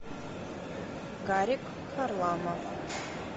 гарик харламов